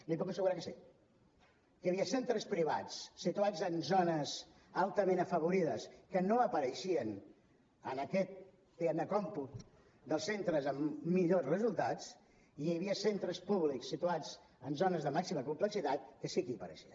li puc assegurar que sí que hi havia centres privats situats en zones altament afavorides que no apareixien en aquest diguem ne còmput dels centres amb millors resultats i hi havia centres públics situats en zones de màxima complexitat que sí que hi apareixien